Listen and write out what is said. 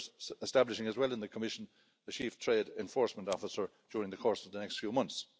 That's why we're establishing as well in the Commission a chief trade enforcement officer during the course of the next few months.